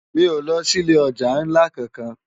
Mi ó lò si ilé òjá nlá kánkán lòlá